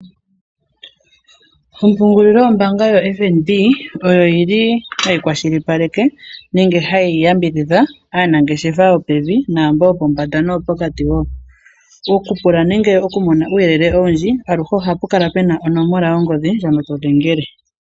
Ompungulilo yombaanga yoFNB, oyo yili hayi kwashilipaleke nenge hayi yambidhidha aanangeshefa yopevi noombo yopombanda noyo pokati woo. Okupula nenge oku Mona uuyelele owindji aluhe ohapu kala puna onomola yongodhi ndjono todhengele.